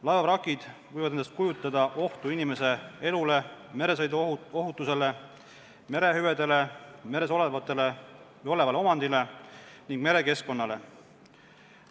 Laevavrakid võivad endast kujutada ohtu inimeste elule, meresõiduohutusele, merehüvedele, meres olevale omandile ning merekeskkonnale.